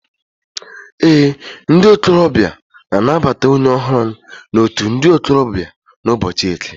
Ee, ndi okorobia na-anabata onye ohuru na out ndi okorobia n'ubochi Eke